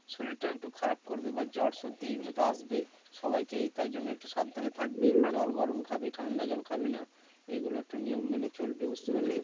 শরিরটা একটু খারাপ করবে বা জ্বর সর্দি এগুলো তো আসবেই সবাইকে তাই জন্য একটু সাবধানে থাকবি জল গরম খাবি ঠান্ডা জল খাবি না এগুলো একটু নিয়ম মেনে চলবি বুঝতে পারলি?